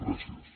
gràcies